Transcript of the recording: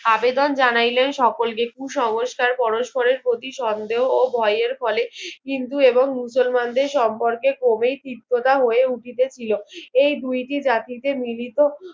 আবেদন জানাইলেন সকলকে কু সমস্কার পরস্পরের প্রতি সন্দেহ ও ভয়ের ফলে কিন্তু এবং মুসলমানদের সম্পর্কে কবে চিত্ততা উঠিতে ছিল এই দুইটি জাতিতে মিলত